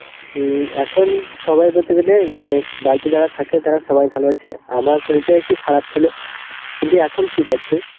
উম এখন সবাই বলতে গেলে অ্যাঁ বাড়িতে যারা থাকে তারা সবাই ভালো আছে, আমার শরীরটা একটু খারাপ ছিল, কিন্তু এখন ঠিক আছি.